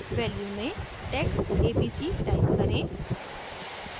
value में text abc type करें